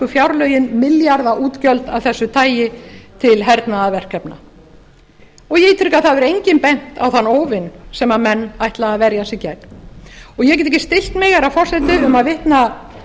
fjárlögin milljarðaútgjöld af þessu tagi til hernaðarverkefna ég ítreka að það hefur enginn bent á þann óvin sem menn ætla að verja sig gegn ég get ekki skylt mig herra forseti um að vitna